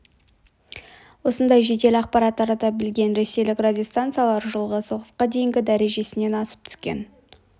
осындай жедел ақпарат тарата білген ресейлік радиостанциялар жылы соғысқа дейінгі дәрежесінен асып түскен